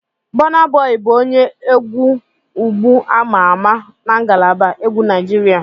Bọna Bọyi bụ onye egwu ugbu ama ama na ngalaba egwu Naijiria.